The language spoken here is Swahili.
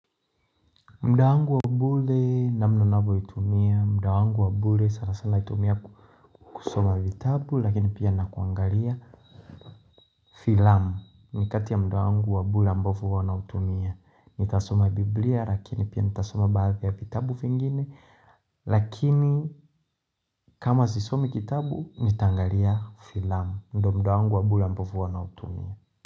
Mdawangu wabule namnonabo hitumia, mdawangu wabule sanasana hitumia kusoma vitabu lakini pia nakuangalia filamu ni kati ya mdawangu wabule ambavu wanautumia. Nitasoma biblia lakini pia nitasoma baadhi ya vitabu fingine lakini kama zisomi kitabu nitangalia filamu mdo mdawangu wabule ambavu wanautumia.